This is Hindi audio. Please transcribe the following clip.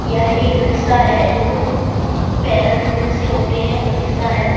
यह एक रिक्शा है जो पैदल रिक्शे होते हैं वो रिक्शा है।